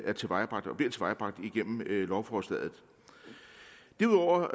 er tilvejebragt og bliver tilvejebragt igennem lovforslaget derudover